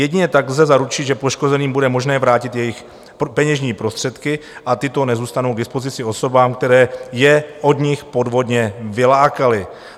Jedině tak lze zaručit, že poškozeným bude možné vrátit jejich peněžní prostředky, a tyto nezůstanou k dispozici osobám, které je od nich podvodně vylákaly.